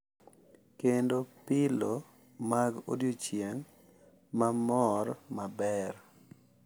Kendo pilo mag odiochieng’ ma mor maber.